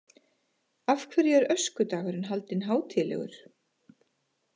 Af hverju er öskudagur haldinn hátíðlegur?